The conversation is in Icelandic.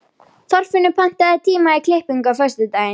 Þorfinnur, pantaðu tíma í klippingu á föstudaginn.